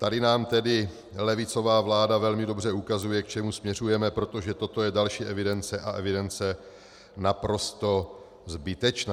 Tady nám tedy levicová vláda velmi dobře ukazuje, k čemu směřujeme, protože toto je další evidence, a evidence naprosto zbytečná.